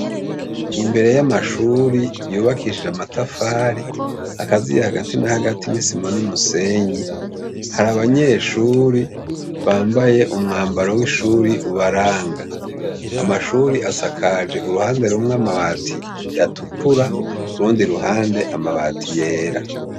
Imbere y'amashuri yubakishije amatafari akaziye hagati na hagati n'isima n'umusenyi, hari abanyeshuri bambaye umwambaro w'ishuri ubaranga amashuri asakaje uruhande rumwe amabati yatukura urundi ruhande amabati yera.